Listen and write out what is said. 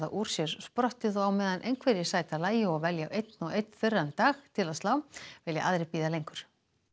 úr sér sprottið og á meðan einhverjir sæta lagi og velja einn og einn þurran dag til að slá vilja aðrir bíða lengur